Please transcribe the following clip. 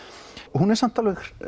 hún er samt